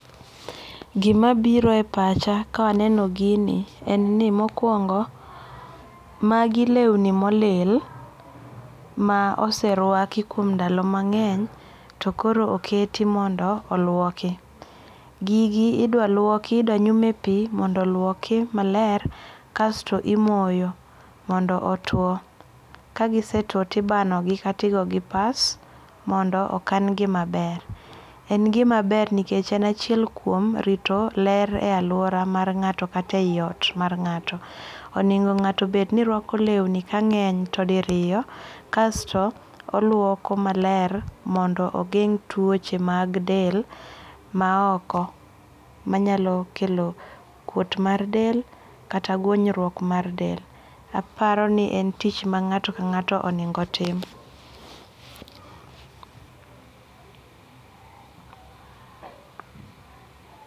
Gimabiro e pacha ka aneno gini mokuongo, magi lewni molil ma oserwaki kuom ndalo mange'ny to koro oketi mondo okwoki, gigi ldwa luoki, gigi idwa luoki idwa nyume pi mondo oluoki maler, kaso imoyo mondo otwo ka gisetwo to ibanogi kata igogi pass, mondo okangi maber, en gimaber nikech en kuom achiel kuom rito ler e aluora mar nga'to kata e yiot mar nga'to, oningo' ngato bed ni lwako lewni ka nge'ny to diriyo kasto oluoko maler mondo ogeng' tuoche mag del maoko manyalo kelo kwot mar del kata gwonyruok mar del aparoni en tich ma nga'to ka nga'to oningo' tim